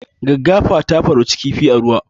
Gaggafa ta farauci kifi a ruwa